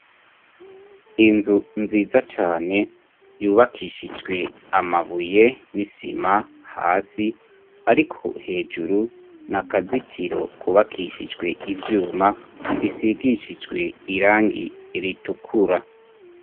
Inzu nziza cane, yubakishijwe amabuye n'isima hasi ariko hejuru n'akazitiro kubakishijwe ivyuma, bisigishijwe irangi ritukura.